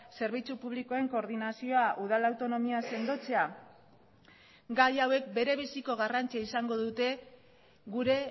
zerbitzu publikoen koordinazioa udal autonomia sendotzea gai hauek berebiziko garrantzia izango dute gure